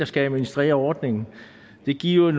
skal administrere ordningen det giver